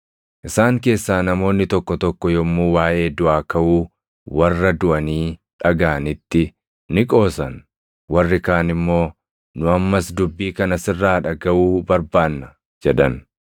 Isaan keessaa namoonni tokko tokko yommuu waaʼee duʼaa kaʼuu warra duʼanii dhagaʼanitti ni qoosan; warri kaan immoo, “Nu ammas dubbii kana sirraa dhagaʼuu barbaanna” jedhan.